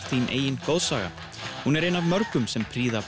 þín eigin goðsaga hún er ein af mörgum sem prýða